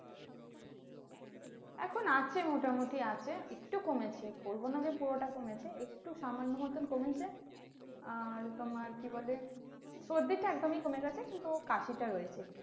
এখন আছে মোটামুটি আছে, একটু কমেছে বলবো না যে পুরাটা কমেছে একটু সামান্য মতন কমেছে, আর তোমার কি বলে সর্দি টা একদমই কমে গেছে কিন্তু কাশিটা রয়েছে ।